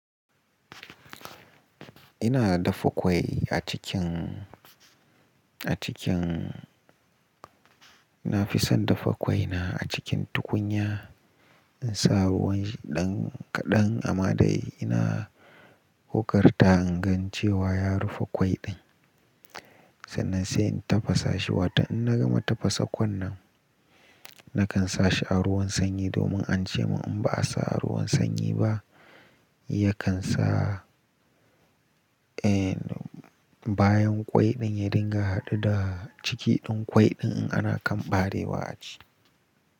Ina dafa ƙwai a cikin, a cikin, na fi son dafa ƙwai na a cikin tukunya. In sa ruwanshi ɗan kaɗan amma dai ina ƙoƙarta in gan cewa ya rufe ƙwai ɗin. Sannan sai in tafasa shi, watan in na gama tafasa ƙwan nan, na kan sa shi a ruwan sanyi domin an ce mun in ba a sa a ruwan sanyi ba, ya kan sa, eh, bayan ƙwai ɗin ya dinga haɗu da ciki ɗin ƙwai ɗin in ana kan ɓarewa a ci.